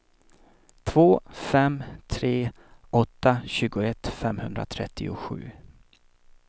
två fem tre åtta tjugoett femhundratrettiosju